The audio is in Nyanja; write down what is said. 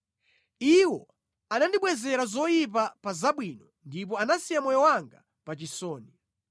Iwo anandibwezera zoyipa pa zabwino ndipo anasiya moyo wanga pa chisoni.